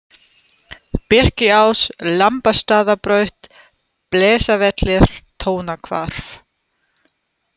Birkiás, Lambastaðabraut, Blesavellir, Tónahvarf